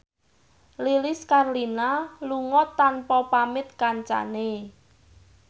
Lilis Karlina lunga tanpa pamit kancane